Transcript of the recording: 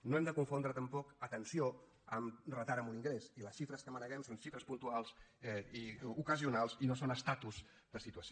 no hem de confondre tampoc atenció amb retard en un ingrés i les xifres que maneguem són xifres puntuals i ocasionals i no són estatus de situació